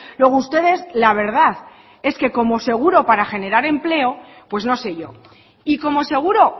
luego ustedes la verdad es que como seguro para generar empleo pues no sé yo y como seguro